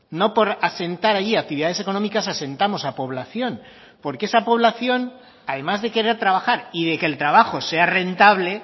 no por asentar allí actividades económicas asentamos a población porque esa población además de querer trabajar y de que el trabajo sea rentable